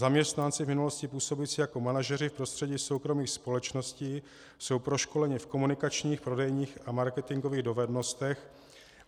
Zaměstnanci, v minulosti působící jako manažeři v prostředí soukromých společností jsou proškoleni v komunikačních, prodejních a marketingových dovednostech.